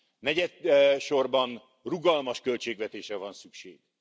Negyedsorban, rugalmas költségvetésre van szükség.